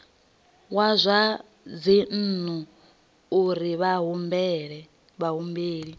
wa zwa dzinnu uri vhahumbeli